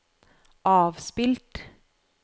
avspilt